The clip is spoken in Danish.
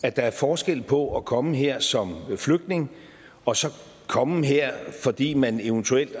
at der er forskel på at komme her som flygtning og så komme her fordi man eventuelt